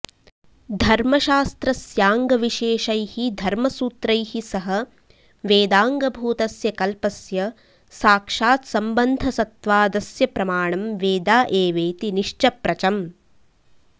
धर्मशास्त्रस्याङ्गविशेषैः धर्मसूत्रैः सह वेदाङ्गभूतस्य कल्पस्य साक्षात् सम्बन्धसत्वादस्य प्रमाणं वेदा एवेति निश्चप्रचम्